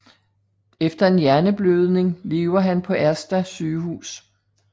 Efter en hjerneblødning lever han på Ersta sygehus